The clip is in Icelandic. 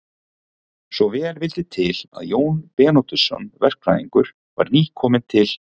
Svo vel vildi til að Jón Bernódusson verkfræðingur var nýkominn til